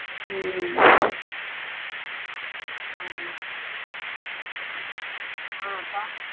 ம்ம் ஆமா ஆ அக்கா